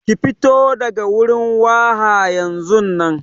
Fito daga wurin waha yanzunnan.